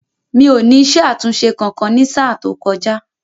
Mi ò ní isé àtúnṣe kankan ní sáà tó kọjá